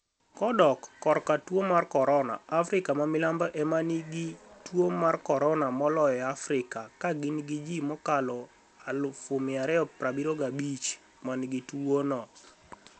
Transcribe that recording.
Kodok korka tuo mar coronia, Afrika ma Milambo ema niigi tuo mar koronia moloyo e Afrika, ka gini gi ji mokalo 275,000 ma niigi tuwono.